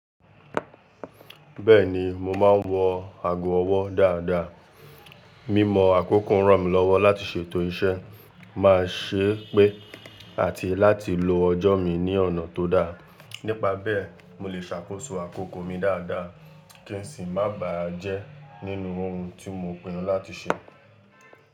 Bẹ́ẹ̀ni, mo máa ń wọ ago ọwọ́ dáadáa. Mímọ àkókò ń ràn mí lọ́wọ́ láti ṣètò iṣẹ́ má ṣé pé àti láti lo ọjọ́ mi ní ọ̀nà tó dá. Nípa bẹ́ẹ̀, mo lè ṣàkóso àkókò mi dáadáa kí n sì má bà á jẹ́ nínú ohun tí mo pinnu láti ṣe.